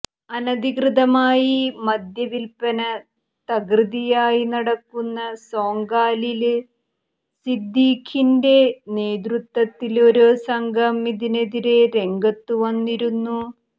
അനധികൃതമായി മദ്യവില്പന തകൃതിയായി നടക്കുന്ന സോങ്കാലില് സിദ്ധീഖിന്റെ നേതൃത്വത്തില് ഒരു സംഘം ഇതിനെതിരെ രംഗത്തുവന്നിരുന്നു